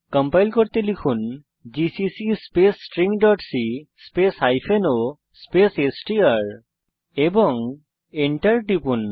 compile করতে লিখুন GCC space stringসি স্পেস o স্পেস এসটিআর এবং Enter টিপুন